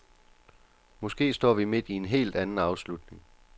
Måske står vi midt i en helt anden afslutning.